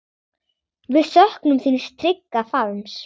Við söknum þíns trygga faðms.